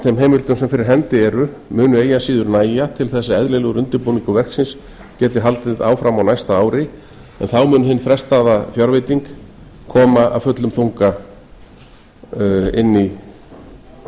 þeim heimildum sem fyrir hendi eru mun eigi að síður nægja til að eðlilegur undirbúningur verksins geti haldið áfram á næsta ári en þá mun hin frestaða fjárveiting koma af fullum þunga inn í verkið